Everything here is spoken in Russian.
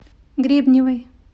гребневой